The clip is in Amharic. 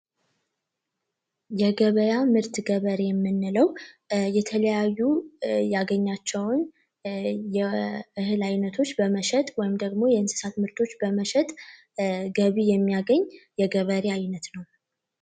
የገበያ ምርት ገበሬ የምንለው የተለያዩ ያገኛቸዋል የምርት አይነቶች በመሸጥ ወይም ደግሞ የእንስሳት ምርቶች በመሸጥ ገቢ የሚያገኝ የገበሬ ዓይነት ነው።